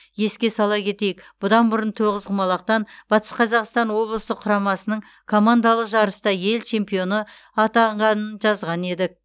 еске сала кетейік бұдан бұрын тоғызқұмалақтан батыс қазақстан облысы құрамасының командалық жарыста ел чемпионы атанғанын жазған едік